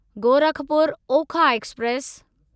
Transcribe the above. Gorakhpur Okha express